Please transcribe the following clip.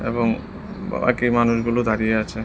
এবং বাকি মানুষগুলো দাঁড়িয়ে আছে।